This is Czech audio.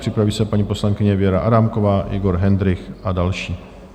Připraví se paní poslankyně Věra Adámková, Libor Hendrych a další.